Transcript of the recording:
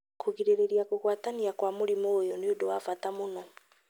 Kũgirĩrĩria kũgwatania kwa mũrimũ ũyũ nĩ ũndũ wa bata mũno.